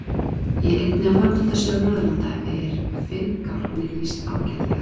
Í einni af fornaldarsögum Norðurlanda er finngálkni lýst ágætlega.